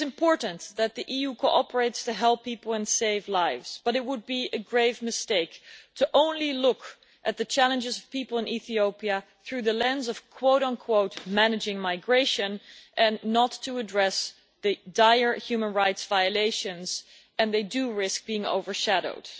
It is important that the EU cooperate to help people and save lives, but it would be a grave mistake only to look at the challenges of people in Ethiopia through the lens of managing migration' and not to address the dire human rights violations which risk being overshadowed.